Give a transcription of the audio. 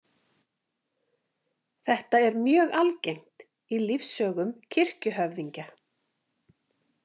Þetta er mjög algengt í lífssögum kirkjuhöfðingja.